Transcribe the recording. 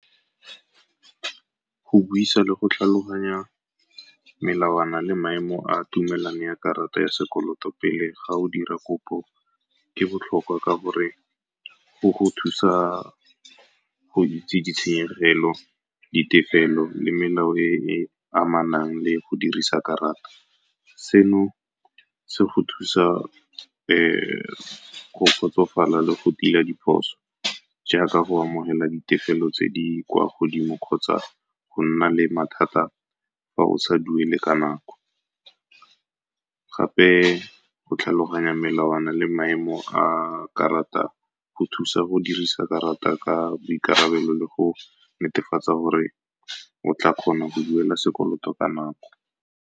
Go buisa le go tlhaloganya melawana le maemo a tumelano ya karata ya sekoloto pele ga o dira kopo ke botlhokwa, ka gore go go thusa go itse ditshenyegelo, ditefelo le melao e e amanang le go dirisa karata. Seno se go thusa go kgotsofala le go tila diphoso jaaka go amogela ditefelo tse di kwa godimo kgotsa go nna le mathata fa o sa duele ka nako. Gape go tlhaloganya melawana le maemo a karata go thusa go dirisa karata ka boikarabelo le go netefatsa gore o tla kgona go duela sekoloto ka nako.